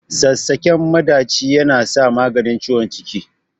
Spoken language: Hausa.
Sassaƙen maɗaci yana maganin ciwon ciki.